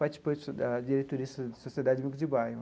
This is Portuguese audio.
Participei da diretoria da Sociedade Amigos de Bairro.